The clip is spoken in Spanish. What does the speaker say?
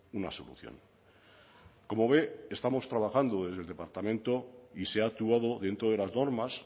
una solución como ve estamos trabajandodesde el departamento y se ha actuado dentro de las normas